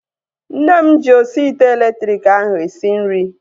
Nne m ji osi ite elektriki ahu esi nri